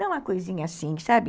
Não é uma coisinha assim, sabe?